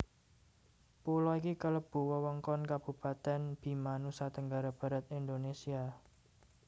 Pulo iki kalebu wewengkon Kabupatèn Bima Nusa Tenggara Barat Indonesia